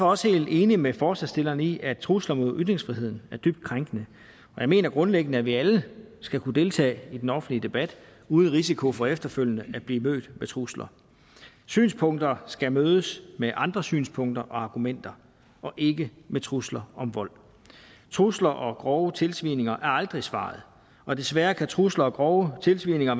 også helt enig med forslagsstillerne i at trusler mod ytringsfriheden er dybt krænkende og jeg mener grundlæggende at vi alle skal kunne deltage i den offentlige debat uden risiko for efterfølgende at blive mødt med trusler synspunkter skal mødes med andre synspunkter og argumenter og ikke med trusler om vold truslerne og grove tilsvininger er aldrig svaret og desværre kan trusler og grove tilsvininger